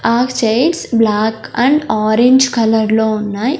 ఆ chairs black and orange colour లో ఉన్నాయి.